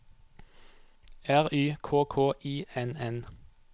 R Y K K I N N